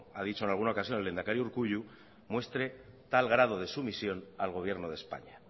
ha dicho en alguna ocasión el lehendakari urkullu muestre tal grado de sumisión al gobierno de españa